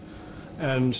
en